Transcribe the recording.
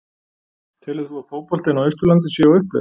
Telur þú að fótboltinn á Austurlandi sé á uppleið?